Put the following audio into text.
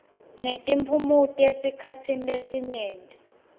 netiphumuti esikhatsini lesinyenti